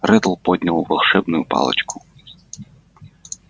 реддл поднял волшебную палочку